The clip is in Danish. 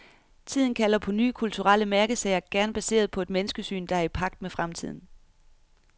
Tiden kalder på nye kulturelle mærkesager, gerne baseret på et menneskesyn, der er i pagt med fremtiden.